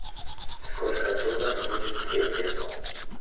сколько в долларах будет две песо